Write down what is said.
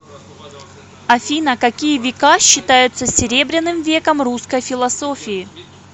афина какие века считаются серебряным веком русской философии